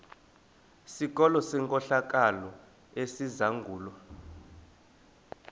sikolo senkohlakalo esizangulwa